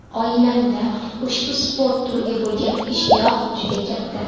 Oilamda ushbu sport turiga bo‘lgan ishtiyoq juda katta.